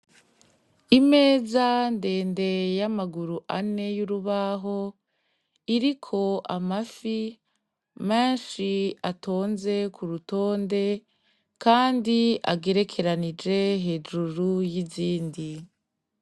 Imeza ndende y'amaguru ane y'urubaho iriko amafi ,menshi atonze kurutonde kandi agerekeranije hejuru y'izindi.